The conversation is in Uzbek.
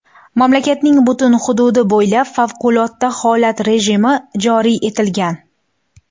Mamlakatning butun hududi bo‘ylab favqulodda holat rejimi joriy etilgan.